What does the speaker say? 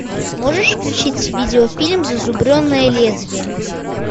можешь включить видеофильм зазубренное лезвие